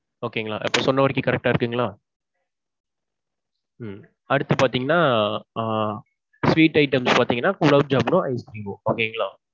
okay ங்களா. இப்போ சொன்ன வரைக்கும் correct டா இருக்குங்களா? அடுத்து பாத்தீங்கன்னா ஆஹ் sweet items பாத்தீங்கன்னா gulab jamun னும் ice cream ம் okay ங்களா?